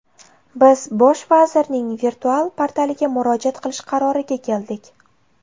Biz Bosh vazirning virtual portaliga murojaat qilish qaroriga keldik.